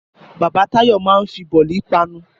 Bàbá Táyọ̀ máa ń fi bọ̀lì panu